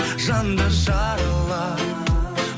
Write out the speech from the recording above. жанды жаралап